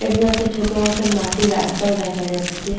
এগুলো একটা ছোট মতন মাটি রাস্তায় দেখা যাচ্ছে ।